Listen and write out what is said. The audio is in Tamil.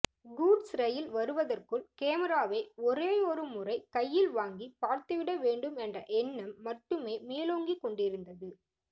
கூட்ஸ் ரயில் வருவத்ற்குள் கேமிராவை ஒரேயொரு முறை கையில் வாங்கி பார்த்துவிட வேண்டும் என்ற எண்ணம் மட்டுமே மேலோங்கிக் கொண்டிருந்த்து